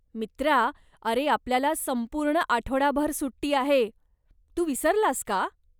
मित्रा, अरे, आपल्याला संपूर्ण आठवडाभर सुट्टी आहे, तू विसरलास का?